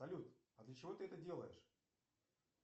салют а для чего ты это делаешь